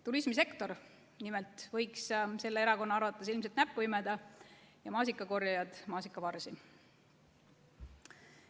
Turismisektor nimelt võiks selle erakonna arvates ilmselt imeda näppu ja maasikakorjajad maasikavarsi.